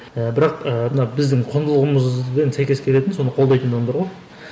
і бірақ ііі мына біздің құндылығымызбен сәйкес келетін соны қолдайтын адамдар ғой